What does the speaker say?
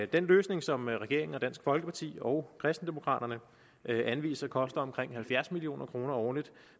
den løsning som regeringen og dansk folkeparti og kristendemokraterne anviser koster omkring halvfjerds million kroner årligt